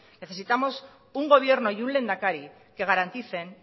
necesitamos un gobierno y un lehendakari que garanticen